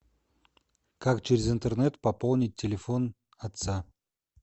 как через интернет пополнить телефон отца